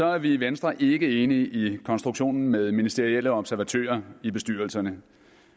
er vi i venstre ikke enige i konstruktionen med ministerielle observatører i bestyrelserne